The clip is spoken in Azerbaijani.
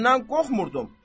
Səndən qorxmurdum.